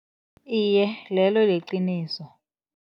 Iye, lelo liqiniso.